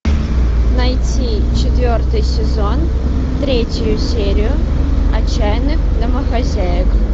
найти четвертый сезон третью серию отчаянных домохозяек